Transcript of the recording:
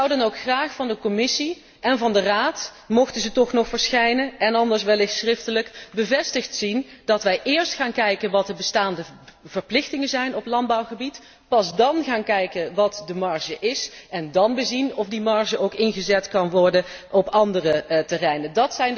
Ik zou dan ook graag van de Commissie en van de Raad mochten ze toch nog verschijnen en anders wellicht schriftelijk bevestigd zien dat wij eerst gaan kijken naar wat de bestaande verplichtingen zijn op landbouwgebied, pas dan gaan kijken wat de marge is en dan bezien of die marge ook ingezet kan worden op andere terreinen.